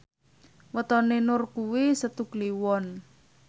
wetone Nur kuwi Setu Kliwon